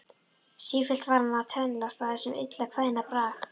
Sífellt var hann að tönnlast á þessum illa kveðna brag.